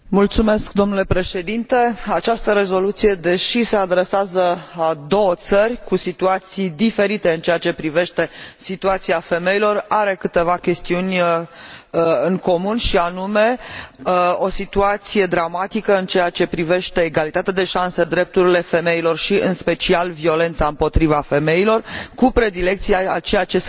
Această rezoluție, deși se adresează acestor două țări, cu situații diferite în ceea ce privește situația situația femeilor, are câteva chestiuni în comun și anume o situație dramatică în ceea ce privește egalitatea de șanse, drepturile femilor și, în special violența împotriva femeilor, cu predilecție ceea ce se întâmplă în Pakistan.